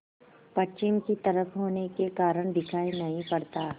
पश्चिम की तरफ होने के कारण दिखाई नहीं पड़ता